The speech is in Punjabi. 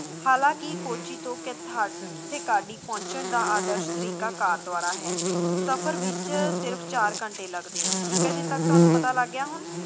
ਹਲਾਂਕਿ ਕੋਚੀ ਤੋਂ ਕੈਥਾ ਚੈਕਾਡੀ ਪਹੁੰਚਣ ਦਾ ਆਦਰਸ਼ ਤਰੀਕਾ ਕਰ ਦੁਆਰਾ ਹੈ ਸਫਰ ਵਿੱਚ ਸਿਰਫ ਚਾਰ ਘੰਟੇ ਲੱਗਦੇ ਹਨ ਠੀਕ ਹੈ ਜੀ ਇੱਥੇ ਤੱਕ ਤੁਹਾਨੂੰ ਪਤਾ ਲੱਗ ਗਿਆ ਹੁਣ